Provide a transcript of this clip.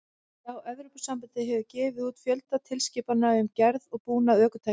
Já, Evrópusambandið hefur gefið út fjölda tilskipana um gerð og búnað ökutækja.